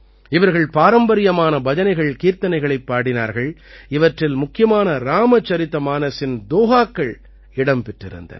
இவர்கள் பாரம்பரியமான பஜனைகள்கீர்த்தனைகளைப் பாடினார்கள் இவற்றில் முக்கியமான ராமசரிதமானஸின் தோஹாக்கள் இடம் பெற்றிருந்தன